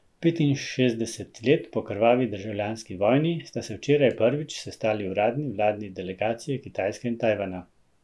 Petinšestdeset let po krvavi državljanski vojni sta se včeraj prvič sestali uradni vladni delegaciji Kitajske in Tajvana.